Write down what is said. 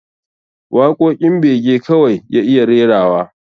Waƙoƙin bege kawai ya iya rerawa